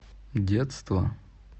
детство